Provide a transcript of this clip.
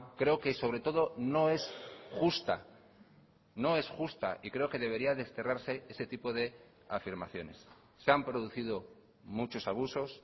creo que sobre todo no es justa no es justa y creo que debería desterrarse ese tipo de afirmaciones se han producido muchos abusos